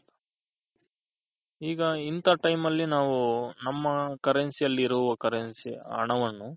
ಈಗ ಇಂತ time ಅಲ್ಲಿ ನಾವು ನಮ್ಮ Currency ಅಲ್ಲಿರುವ Currency ಹಣವನ್ನು